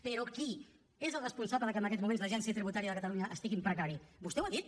però qui és el responsable que en aquests moments l’agència tributària de catalunya estigui en precari vostè ho ha dit